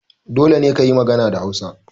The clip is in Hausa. Dole ne kayi magana da Hausa!